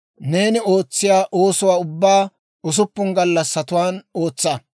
Neeni ootsiyaa oosuwaa ubbaa usuppun gallassatuwaan ootsa.